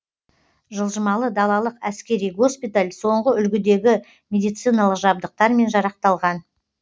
жылжымалы далалық әскери госпиталь соңғы үлгідегі медициналық жабдықтармен жарақталған